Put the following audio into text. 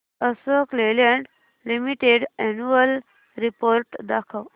Ashok Leyland limited annual report दाखव